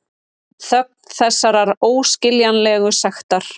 Þögn þessarar óskiljanlegu sektar.